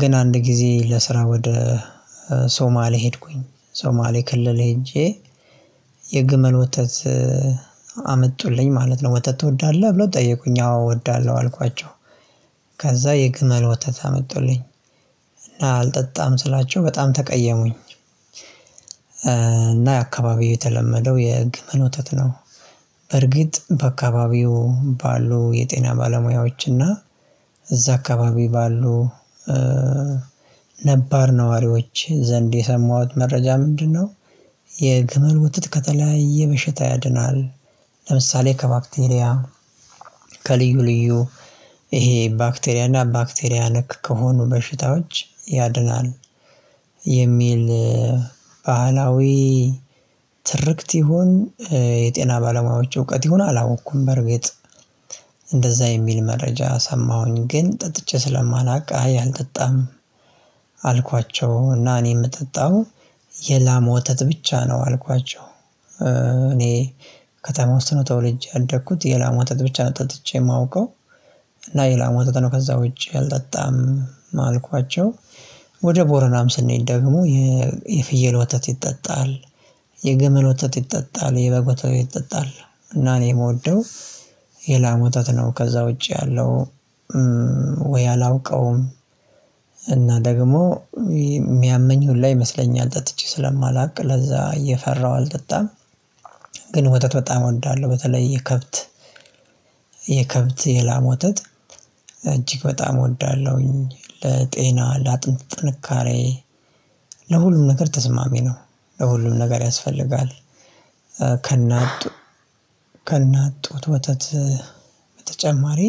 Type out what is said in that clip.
ግን አንድ ጊዜ ለስራ ወደ ሶማሌ ሄድኩኝ ሶማሌ ክልል ሄጄ የግመል ወተት አመጡልኝ ማለት ነው ወተት ትወዳለህ ብለው ጠየቁኝ አዎ እወዳለሁ አልኳቸው። ከዛ የግመል ወተት አመጡልኝ እና አልጠጣም ስላቸው በጣም ተቀየሙኝ። እና የአካባቢው የተለመደው የግመል ወተት ነው። በርግጥ በአካባቢው ባሉ የጤና ባለሙያዎች እና እዛ አካባቢ ባሉ ነባር ነዋሪዎች ዘንድ የሰማሁት መረጃ ምንድነው? የግመል ወተት ከተለያየ በሽታ ያድናል ለምሳሌ ከባክቴሪያ ከልዩ ልዩ ይሄ ባክቴሪያ እና ባክቴሪያ ነክ ከሆኑ በሽታዎች ያድናል። የሚል ባህላዊ ትርክት ይሁን የጤና ባለሙያዎች እውቀት ይሁን አላወቅኩም። በእርግጥ እንደዛ የሚል መረጃ ሰማሁኝ ግን ጠጥቼ ስለማላውቅ አይ አልጠጣም። አልኳቸው እና እኔ የምጠጣው የላም ወተት ብቻ ነው አልኳቸው። እኔ ከተማ ውስጥ ነው ተወልጄ ያደግኩት የላም ወተት ብቻ ነው ጠጥቼ የማውቀው። እና የላም ወተት ነው ከዛ ውጪ አልጠጣም አልኳቸው። ወደ ቦረናም ስንሄድ ደግሞ የፍየል ወተት ይጠጣል የግመል ወተት ይጠጣል የበግት ወተት ይጠጣል። እና እኔ የምወደው የላም ወተት ነው። ከዛ ውጪ ያለው ወይ አላውቀውም። እና ደግሞ የሚያመኝ ሁላ ይመስለኛል ጠጥቼ ስለማላውቅ ለዛ እየፈራሁ አልጠጣም። ግን ወተት በጣም እወዳለሁ በተለይ የከብት የከብት የላም የላም ወተት እጅግ በጣም እወዳለሁኝ። ለጤና ለአጥንት ጥንካሬ ለሁሉም ነገር ተስማሚ ነው። ለሁሉም ነገር ያስፈልጋል። ከና ከእናት ጡት ወተት በተጨማሪ